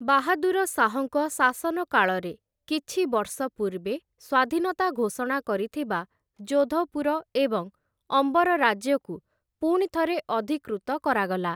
ବାହାଦୁର ଶାହଙ୍କ ଶାସନକାଳରେ, କିଛି ବର୍ଷ ପୂର୍ବେ ସ୍ୱାଧୀନତା ଘୋଷଣା କରିଥିବା ଜୋଧପୁର ଏବଂ ଅମ୍ବର ରାଜ୍ୟକୁ ପୁଣିଥରେ ଅଧିକୃତ କରାଗଲା ।